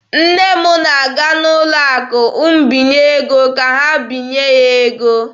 Nne m na-aga n'ụlọ akụ mbinye ego ka ha binye ya ego.